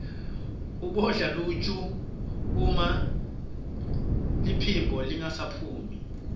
ubodla luju uma liphimbo lingasaphumi